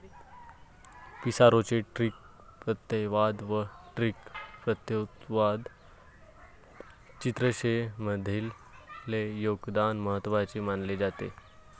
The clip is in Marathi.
पिसारोचे ड्रिक प्रत्ययवाद व ड्रिक प्रत्ययोत्तरवाद चित्रशैलींमधले योगदान महत्वाचे मानले जाते.